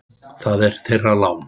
Það var þeirra lán.